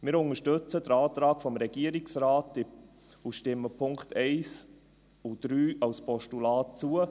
Wir unterstützen den Antrag des Regierungsrates und stimmen den Punkten 1 und 3 als Postulat zu.